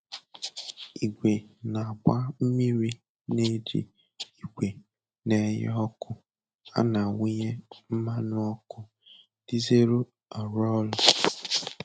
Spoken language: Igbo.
Igwe na-agba mmiri na-eji igwe na-enye ọkụ a na-awụnye mmanụ ọkụ dizelụ arụ ọrụ